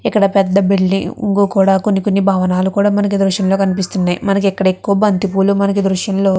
ఇక్కడ పెద్ద బిలిడింగ్ పెద్ద పెద్ద భవనాలు కూడా ఈ దృశ్యంలో కనిపిస్తున్నాయ్. మనకు ఇక్కడ ఎక్కువ బంతి పూలు మనకు ఈ దృష్ఘ్యంలో--